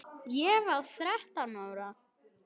Ég var þrettán ára.